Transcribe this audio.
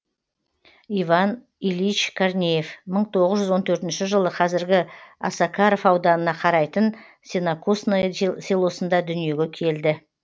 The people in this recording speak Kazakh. иван ильич корнеев мың тоғыз жүз он төртінші жылы қазіргі осакаров ауданына қарайтын сенокосное селосында дүниеге келді